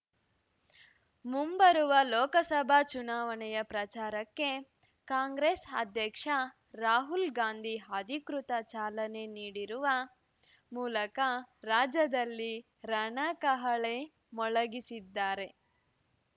ಮುಂಬರುವ ಲೋಕಸಭಾ ಚುನಾವಣೆಯ ಪ್ರಚಾರಕ್ಕೆ ಕಾಂಗ್ರೆಸ್ ಅಧ್ಯಕ್ಷ ರಾಹುಲ್ ಗಾಂಧಿ ಅಧಿಕೃತ ಚಾಲನೆ ನೀ‌ಡಿರುವ ಮೂಲಕ ರಾಜ್ಯದಲ್ಲಿ ರಣಕಹಳೆ ಮೊಳಗಿಸಿದ್ದಾರೆ